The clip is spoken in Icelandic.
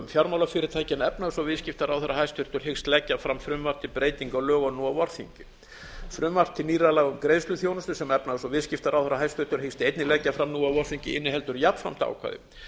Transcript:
en efnahags og viðskiptaráðherra hæstvirtur hyggst leggja fram frumvarp til breytinga á lögunum nú á vorþingi frumvarp til nýrra laga um greiðsluþjónustu sem hæstvirtur efnahags og viðskiptaráðherra hyggst einnig leggja fram nú á vorþingi inniheldur jafnframt ákvæði